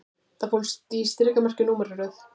Það fólst í strikamerki og númeraröð